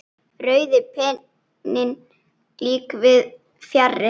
Rauði penninn líka víðs fjarri.